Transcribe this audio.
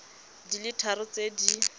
di le tharo tse di